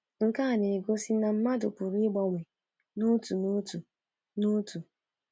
Nke a na-egosi na mmadụ pụrụ ịgbanwe n’otu n’otu. n’otu.